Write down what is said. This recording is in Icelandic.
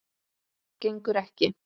Gengur ekki.